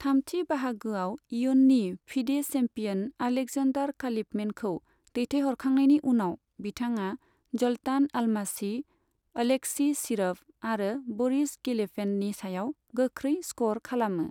थामथि बाहागोआव इयुन्नि फिडे चेम्पियन अलेक्जेनडार खालीफमेनखौ दैथायहरखांनायनि उनाव, बिथाङा जल्टान अलमासी, अलेक्सी शिरभ आरो बरिस गेलफेन्डनि सायाव गोख्रै स्कर खालामो।